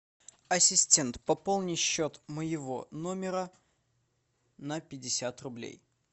ассистент пополни счет моего номера на пятьдесят рублей